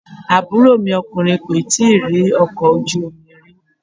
Àbúrò mi ọkùnrin kò tíì rí ọkọ̀ ojú omi rí.